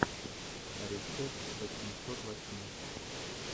рецепт восьмисот восьми